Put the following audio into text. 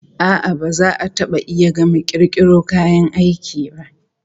A'a, ba za a taba iya gama kirkiro kayan aiki ba.